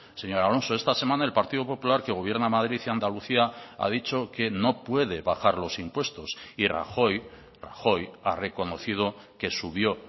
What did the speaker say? señor alonso esta semana el partido popular que gobierna madrid y andalucía ha dicho que no puede bajar los impuestos y rajoy rajoy ha reconocido que subió